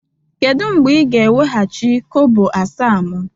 Kedu mgbe ị ga-eweghachi kobo asaa m?